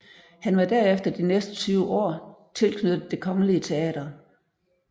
Han var derefter de næste 20 år tilknyttet Det kongelige Teater